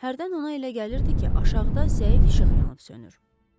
Hərdən ona elə gəlirdi ki, aşağıda zəif işıq yanıb-sönür.